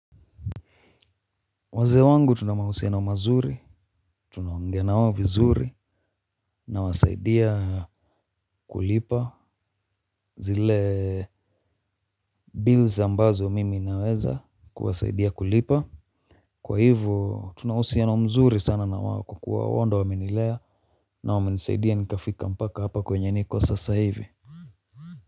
Wazee wangu tunamahusiano mazuri, tuna ongea nao vizuri na wasaidia kulipa zile bills ambazo mimi naweza kuwasaidia kulipa. Kwahivyo tuna uhusiano mzuri sana na wao kuwa wao ndio wamenilea na wamenisaidia nikafika mpaka hapa kwenye niko sasa hivi.